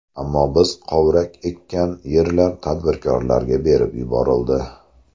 Ammo biz kovrak ekkan yerlar tadbirkorlarga berib yuborildi.